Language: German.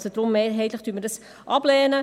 Deshalb: Mehrheitlich lehnen wir das ab.